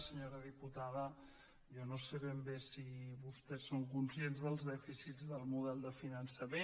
senyora diputada jo no sé ben bé si vostès són conscients dels dèficits del model de finançament